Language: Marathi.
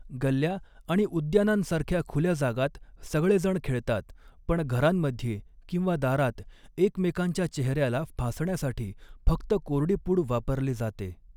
गल्ल्या आणि उद्यानांसारख्या खुल्या जागांत सगळेजण खेळतात, पण घरांमध्ये किंवा दारात, एकमेकांच्या चेहऱ्याला फासण्यासाठी फक्त कोरडी पूड वापरली जाते.